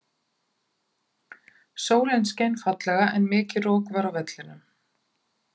Sólin skein fallega en mikið rok var á vellinum.